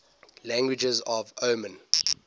languages of oman